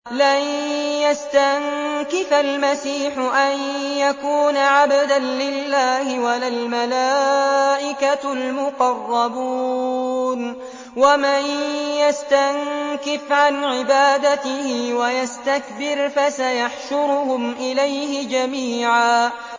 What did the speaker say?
لَّن يَسْتَنكِفَ الْمَسِيحُ أَن يَكُونَ عَبْدًا لِّلَّهِ وَلَا الْمَلَائِكَةُ الْمُقَرَّبُونَ ۚ وَمَن يَسْتَنكِفْ عَنْ عِبَادَتِهِ وَيَسْتَكْبِرْ فَسَيَحْشُرُهُمْ إِلَيْهِ جَمِيعًا